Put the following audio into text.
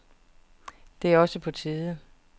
Det er også på tide.